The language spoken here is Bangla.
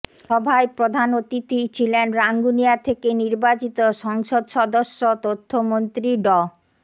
সভায় প্রধান অতিথি ছিলেন রাঙ্গুনিয়া থেকে নির্বাচিত সংসদ সদস্য তথ্যমন্ত্রী ড